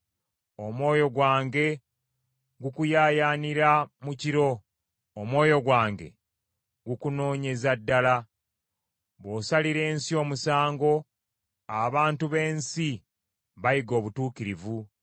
Omwoyo gwange gukuyaayaanira mu kiro, omwoyo gwange gukunoonyeza ddala. Bw’osalira ensi omusango, abantu b’ensi bayiga obutuukirivu.